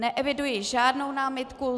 Neeviduji žádnou námitku.